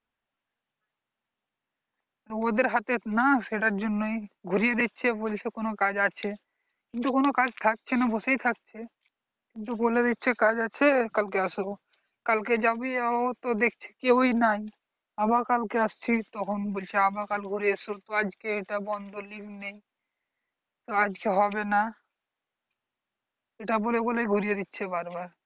আবার কাল কে আসছি তখন বলছে আবার কাল ঘুরে এস তো আজকে ইটা বন্ধ link নেই তো আজকে হবে না সেটা বলে বলে ঘুরিয়ে দিচ্ছে বার বার